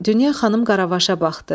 Dünya xanım Qaravaşa baxdı.